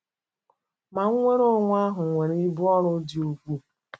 Ma nnwere onwe ahụ nwere ibu ọrụ dị ukwuu.